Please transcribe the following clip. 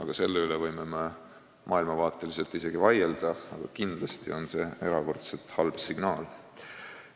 Me võime selle üle maailmavaateliselt isegi vaielda, aga kindlasti on see erakordselt halb signaal.